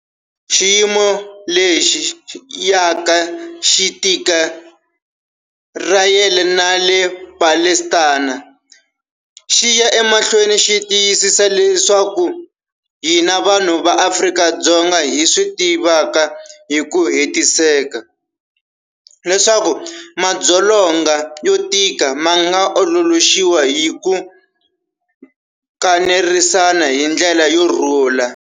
Xiyimo lexi yaka xi tika eIsirayele na le Palestina xi ya emahlweni xi tiyisisa leswi hina vanhu va Afrika-Dzonga hi swi tivaka hi ku hetiseka, leswaku madzolonga yo tika ma nga ololoxiwa hi ku kanerisana hi ndlela yo rhula.